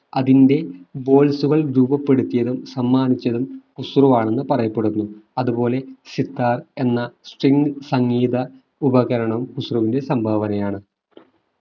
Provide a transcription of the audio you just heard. അതിന്റെ കൾ രൂപപ്പെടുത്തിയതും സമ്മാനിച്ചതും ഖുസ്രു ആണെന്ന് പറയപ്പെടുന്നു അതുപോലെ സിത്താർ എന്ന string സംഗീത ഉപകരണം ഖുസ്രുവുവിന്റെ സംഭാവനയാണ്